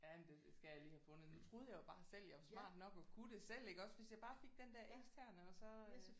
Ja men det det skal jeg lige have fundet. Nu troede jeg jo bare selv jeg var smart nok og kunne det selv iggås hvis jeg bare fik den der eksterne og så øh